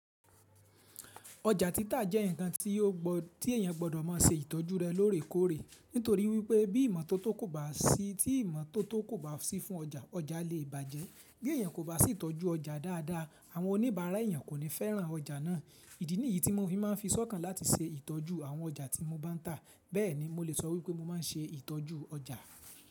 Ọjà títà jẹ́ nǹkan tí èèyàn gbọ́dọ̀ máa ṣe ìtọ́jú rẹ̀ lóòrèkóòrè nítorí wípé bí ìmọ́tótó kò bá sí fún ọjà, ọjà lè bàjẹ́. Bí èèyàn kò bá sì tọ́jú ọjà dádá, àwọn oníbàárà èèyàn kò ní fẹ́ràn ọjà ná. Ìdí nìyí tí mo fi máa ń fi s'ọ́kàn láti ṣe ìtọ́jú àwọn ọjà tí mo bá ń tà. Bẹ́ẹ̀ ni mo lè sọ wípé mo máa ń ṣe ìtọ́jú ọjà.